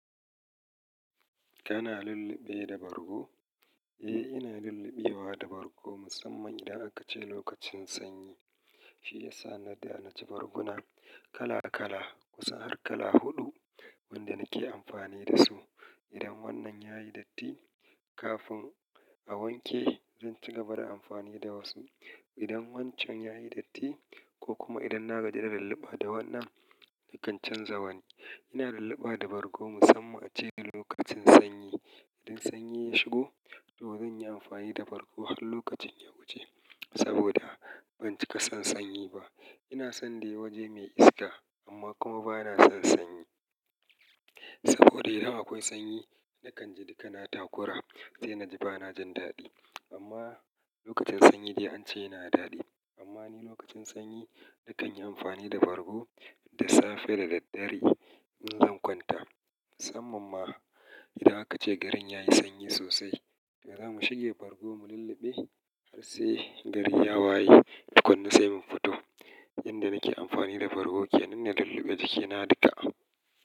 Kana lulluɓe da bargo? Eh, ina lulluɓewa da bargo musamman idan aka ce lokacin sanyi. Shi yasa na da na ji barguna kala kala kusan har kala huɗu wanda nake amfani da su. Idan wannan yayi datti kafin a wanke, zan ci gaba da amfani da wasu. Idan wancan yayi datti ko kuma idan na gaji da lulluɓa da wannan, nakan canza wani. Ina lulluɓa da bargo musamman ace da lokacin sanyi. Idan sanyi ya shigo, to zan yi amfani da bargo har lokacin ya wuce saboda ban cika son sanyi ba. Ina son dai waje mai iska amma kuma ba na son sanyi. Saboda idan akwai sanyi, nakan ji duka na takura sai na ji ba na jin daɗi. Amma lokacin sanyi dai ance yana daɗi. Amma ni lokacin sanyi nakan yi amfani da bargo da safe da daddare in zan kwanta. Musamman ma idan aka ce garin yayi sanyi sosai, to za mu shige bargo mu lulluɓe har sai garin ya waye duk wanna sai mu fito. Inda nake amfani da bargo ke manne lulluɓe jikina duka.